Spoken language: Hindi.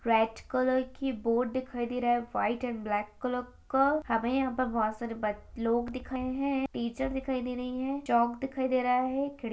रेड कलर की बोर्ड दिखाई दे रहा है वाइट एंड ब्लैक कलर का हमें यहाँ पर बहोत सारे ब लोग दिख रहे हैं टीचर दिखाई दे रही है चॉक दिखाई दे रहा है खिड़ --